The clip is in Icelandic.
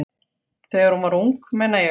Þegar hún var ung, meina ég.